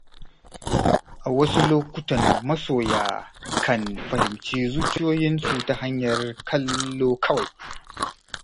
A wasu lokutan masoya kan fahimci zuciyoyinsu ta hanyar kallo kawai.